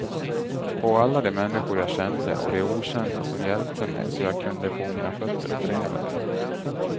På alla de människor jag kände och de okända som hjälpte mig så jag kunde få mina fötter opererade.